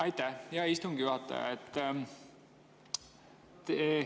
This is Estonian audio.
Aitäh, hea istungi juhataja!